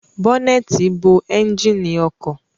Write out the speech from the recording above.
Bọnẹti bo ẹnjínì ọkọ